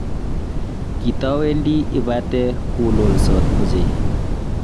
kitawendi ipate kulolsot ochei.